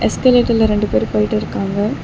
எஸ்கலேட்டர்ல ரெண்டு பேர் போயிட்டு இருக்காங்க.